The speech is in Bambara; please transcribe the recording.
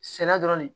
Sɛnɛ dɔrɔn de